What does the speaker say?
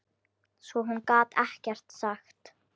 Svo hún gat ekkert sagt.